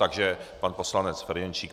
Takže pan poslanec Ferjenčík.